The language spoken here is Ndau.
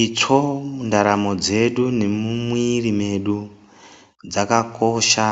Itsvo mundaramo dzedu nemumwiri mwedu dzakakosha